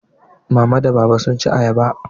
Mama da Baba sun ci ayaba.